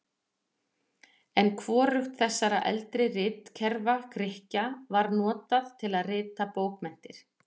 En hvorugt þessara eldri ritkerfa Grikkja var notað til að rita bókmenntir.